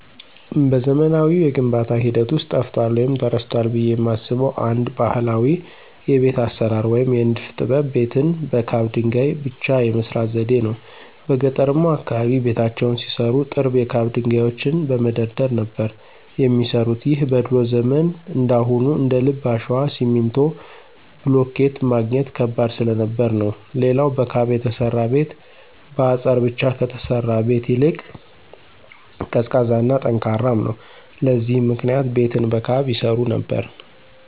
በዘመናዊው የግንባታ ሂደት ውስጥ ጠፍቷል ወይም ተረስቷል ብየ የማስበው አንድ ባህላዊ የቤት አሰራር ወይም የንድፍ ጥበብ ቤትን በካብ ድንገይ ብቻ የመስራት ዘዴን ነው። በገጠርማው አካባቢ ቤታቸውን ሲሰሩ ጥርብ የካብ ድንጋዮችን በመደርደር ነበር የሚሰሩት ይህም በድሮ ዘመን እንዳሁኑ እንደልብ አሸዋ፣ ሲሚንቶ፣ ብሎኬት ማግኘት ከባድ ስለነበር ነው። ሌላው በካብ የተሰራ ቤት በአጸር ብቻ ከተሰራ ቤት ይልቅ ቀዝቃዛ እና ጠንካራም ነው። ለዚህም ምክንያት ቤትን በካብ ይሰሩ ነበር።